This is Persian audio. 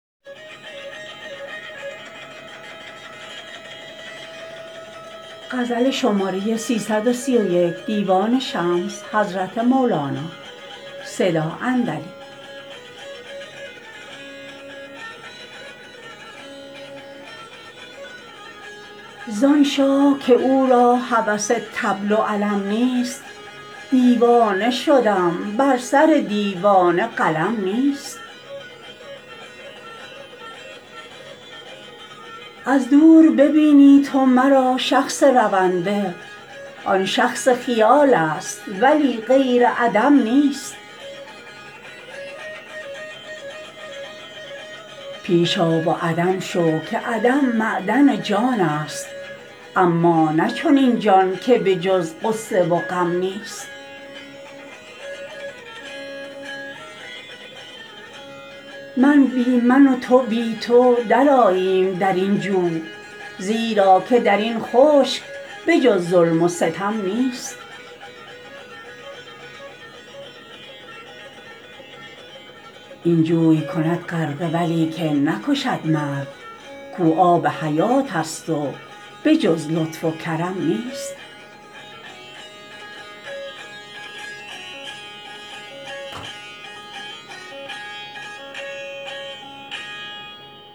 زان شاه که او را هوس طبل و علم نیست دیوانه شدم بر سر دیوانه قلم نیست از دور ببینی تو مرا شخص رونده آن شخص خیالست ولی غیر عدم نیست پیش آ و عدم شو که عدم معدن جانست اما نه چنین جان که به جز غصه و غم نیست من بی من و تو بی تو درآییم در این جو زیرا که در این خشک به جز ظلم و ستم نیست این جوی کند غرقه ولیکن نکشد مرد کو آب حیاتست و به جز لطف و کرم نیست